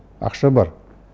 ақша бар